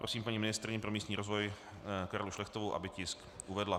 Prosím paní ministryni pro místní rozvoj Karlu Šlechtovou, aby tisk uvedla.